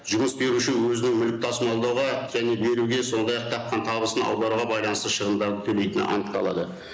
жұмыс беруші өзінің мүлік тасымалдауға және беруге сондай ақ тапқан табысын аударуға байланысты шығымдарды төлейтіні анықталады